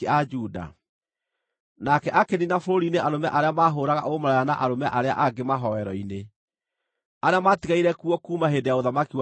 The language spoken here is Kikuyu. Nake akĩniina bũrũri-inĩ arũme arĩa maahũũraga ũmaraya na arũme arĩa angĩ mahooero-inĩ, arĩa maatigaire kuo kuuma hĩndĩ ya ũthamaki wa ithe Asa.